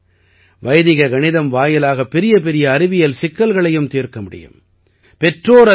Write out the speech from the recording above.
அது மட்டுமல்ல வைதிக கணிதம் வாயிலாக பெரியபெரிய அறிவியல் சிக்கல்களையும் தீர்க்க முடியும்